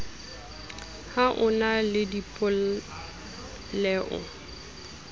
ha o na le dipoleo